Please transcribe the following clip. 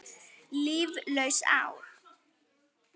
Líflaus ár.